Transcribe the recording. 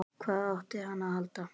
Hvað átti hann að halda?